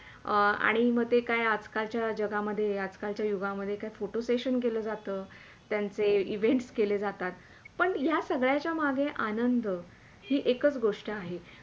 आणि म ते काय आज - कालच्या जगामध्ये आज-कालच्या युगामधे Photo session केल्या जातात. तर त्यांचे Event केल्या जातात पण या सगळ्याचा मध्ये आनंद हा एकच गोष्ट आहे.